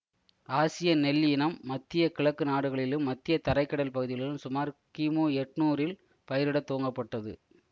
ஆசிய நெல் இனம் மத்திய கிழக்கு நாடுகளிலும் மத்திய தரை கடல் பகுதிகளிலும் சுமார் கிமு எட்ணூறில் பயிரிட துவங்கப்பட்டது